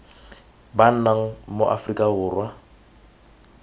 ba nnang mo aforika borwa